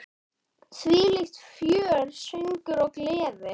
Þvílíkt fjör, söngur og gleði.